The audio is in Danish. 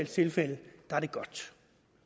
tilfælde er det godt